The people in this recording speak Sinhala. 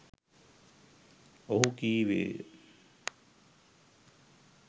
ඔහු කීවේය